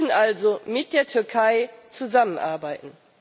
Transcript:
Wir müssen also mit der Türkei zusammenarbeiten.